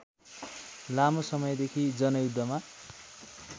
लामो समयदेखि जनयुद्धमा